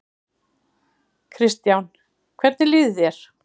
Kristján: Hvernig líður þér?